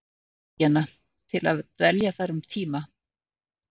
Bandaríkjanna til að dvelja þar um tíma.